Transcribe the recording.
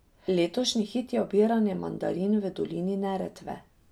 Letošnji hit je obiranje mandarin v dolini Neretve.